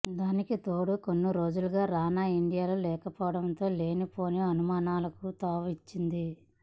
దానికి తోడు కొన్ని రోజులుగా రానా ఇండియాలో లేకపోవడం లేనిపోని అనుమానాలకు తావిచ్చింది